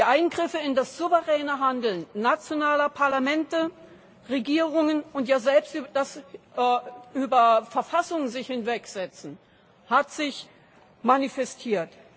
Die Eingriffe in das souveräne Handeln nationaler Parlamente und Regierungen und selbst das Sich über die Verfassung Hinwegsetzen haben sich manifestiert.